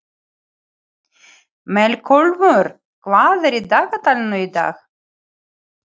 Melkólmur, hvað er í dagatalinu í dag?